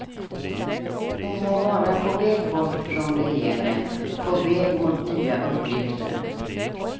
Hon må vara på väg bort från regeringen, på väg mot nya uppgifter.